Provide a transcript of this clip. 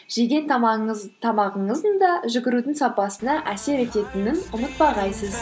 жеген тамағыңыздың да жүгірудің сапасына әсер ететінін ұмытпағайсыз